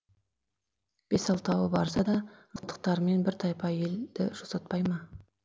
бес алтауы барса да мылтықтарымен бір тайпа елді жусатпай ма